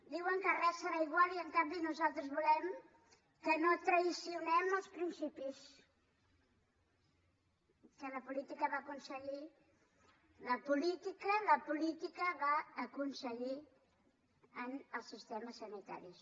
diuen que res serà igual i en canvi nosaltres volem que no traïm els principis que la política va aconseguir la política va aconseguir en els sistemes sanitaris